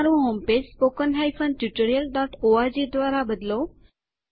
તમારું home page spoken tutorialઓર્ગ દ્વારા બદલો